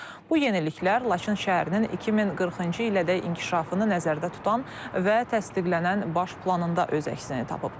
Bu yeniliklər Laçın şəhərinin 2040-cı ilədək inkişafını nəzərdə tutan və təsdiqlənən baş planında öz əksini tapıb.